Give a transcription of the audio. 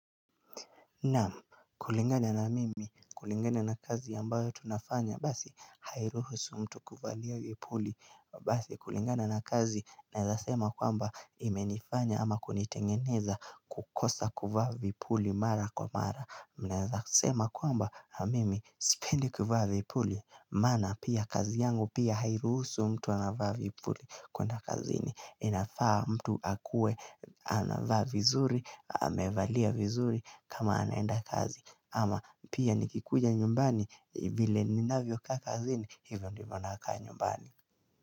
Naam, kulingana na mimi, kulingana na kazi ambayo tunafanya, basi, hairuhusu mtu kuvalia vipuli Basi, kulingana na kazi, naeza sema kwamba imenifanya ama kunitengeneza kukosa kuvaa vipuli mara kwa mara Naeza sema kwamba, mimi, sipendi kuvaa vipuli, maana pia kazi yangu pia hairuhusu mtu anavaa vipuli Kuna kazini inafaa mtu akue anavaa vizuri, amevalia vizuri kama anaenda kazi ama pia nikikuja nyumbani vile ninavyo kaa kazini hivyo ndivo nakaa nyumbani.